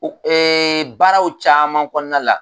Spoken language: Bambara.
o baaraw caman kɔnɔna la.